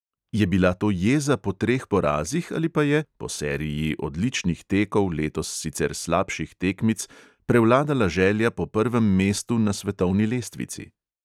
Je bila to jeza po treh porazih ali pa je – po seriji odličnih tekov letos sicer slabših tekmic – prevladala želja po prvem mestu na svetovni lestvici?